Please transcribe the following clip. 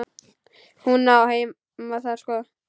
Hún á heima þar sko.